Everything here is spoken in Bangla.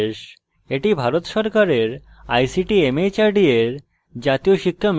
এটি ভারত সরকারের ict mhrd এর জাতীয় শিক্ষা mission দ্বারা সমর্থিত